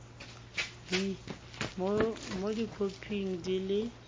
b mo dikhoping di le